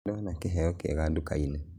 Nĩndaona kĩheo kĩega dukainĩ